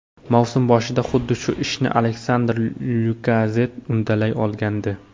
Mavsum boshida xuddi shu ishni Aleksandr Lyakazett uddalay olgandi.